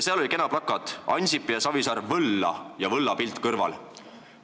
Seal oli ka kena plakat "Ansip ja Savisaar võlla!", mille kõrval oli võllapilt.